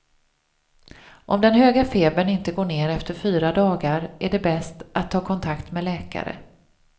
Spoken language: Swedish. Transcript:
Om den höga febern inte går ner efter fyra dagar är det bäst att ta kontakt med läkare.